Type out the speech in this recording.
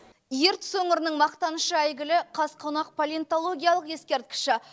ертіс өңірінің мақтанышы әйгілі қазқонақ палеонтологиялық ескерткіші